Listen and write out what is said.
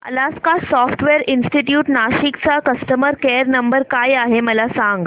Alaska software institute Nashik चा customer care number काय आहे मला सांग